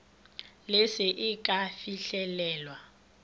le se e ka fihlelewa